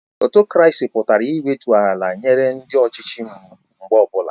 Ọtokrasi pụtara iwetu onwe ala nyere ndị ọchịchị mgbe ọbụla